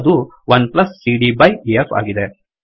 ಅದು1CD by E F ಆಗಿದೆ